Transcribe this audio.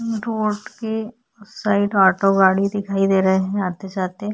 Road के side auto गाड़ी दिखाई दे रहा हैं आते जाते।